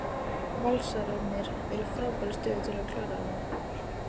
Valsararnir eru í frábærri stöðu til að klára þetta.